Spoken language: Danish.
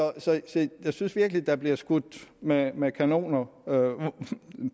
jeg synes virkelig der bliver skudt med med kanoner